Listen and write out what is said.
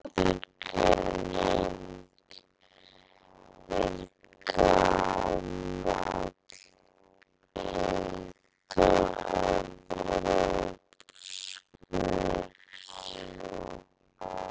Aðgreiningin er gamall indóevrópskur arfur sem lotið hefur í lægra haldi í nær öllum málaættunum.